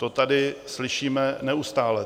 To tady slyšíme neustále.